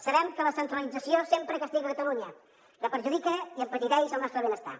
sabem que la centralització sempre castiga catalunya que perjudica i empetiteix el nostre benestar